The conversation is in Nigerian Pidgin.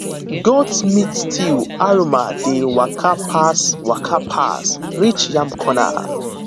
goat meat stew aroma dey waka pass waka pass reach yam corner